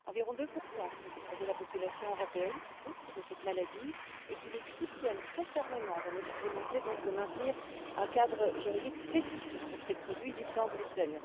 Environ 2 de la population européenne souffrent de cette maladie et nous soutiennent très fermement dans notre volonté de maintenir un cadre juridique spécifique pour ces produits dits sans gluten.